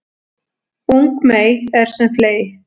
Ung mey er sem fley